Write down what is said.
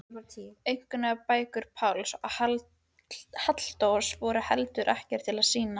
Einkunnabækur Páls og Halldórs voru heldur ekkert til að sýna.